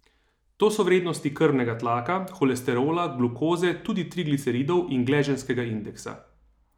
To so vrednosti krvnega tlaka, holesterola, glukoze, tudi trigliceridov in gleženjskega indeksa.